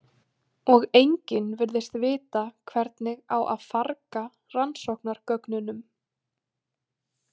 Og enginn virðist vita hvernig á að farga rannsóknargögnunum.